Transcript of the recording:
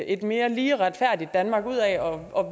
et mere lige og retfærdigt danmark ud af og